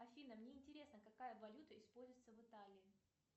афина мне интересно какая валюта используется в италии